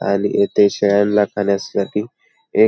आणि येथे शेळ्यांला खाण्यासाठी एक--